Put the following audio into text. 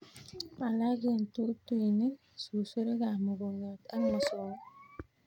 Alak eng' tutuinik, susurik ab mukongiot ak mosonik